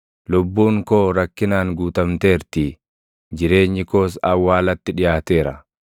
Lubbuun koo rakkinaan guutamteertii; jireenyi koos awwaalatti dhiʼaateera.